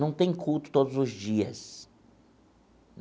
Não tem culto todos os dias.